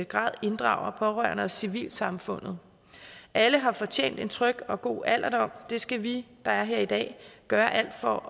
grad inddrager pårørende og civilsamfundet alle har fortjent en tryg og god alderdom og det skal vi der er her i dag gøre alt for